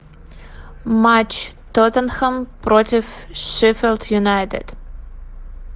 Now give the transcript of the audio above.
матч тоттенхэм против шеффилд юнайтед